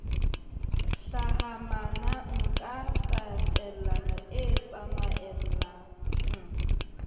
hlahamanang ka tatellano e tsamaellalang